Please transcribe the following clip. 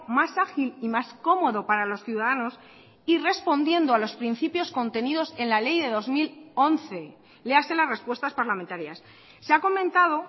más ágil y más cómodo para los ciudadanos y respondiendo a los principios contenidos en la ley de dos mil once léase las respuestas parlamentarias se ha comentado